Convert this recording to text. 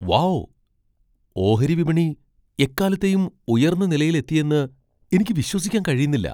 Wow , ഓഹരി വിപണി എക്കാലത്തെയും ഉയർന്ന നിലയിലെത്തിയെന്ന് എനിക്ക് വിശ്വസിക്കാൻ കഴിയുന്നില്ല!